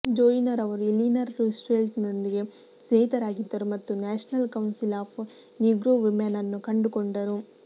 Joyner ಅವರು Eleanor ರೂಸ್ವೆಲ್ಟ್ರೊಂದಿಗೆ ಸ್ನೇಹಿತರಾಗಿದ್ದರು ಮತ್ತು National Council of Negro Women ಅನ್ನು ಕಂಡುಕೊಂಡರು